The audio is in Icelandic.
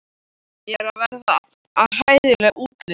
Ég er að verða hræðileg útlits.